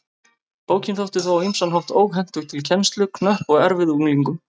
Bókin þótti þó á ýmsan hátt óhentug til kennslu, knöpp og erfið unglingum.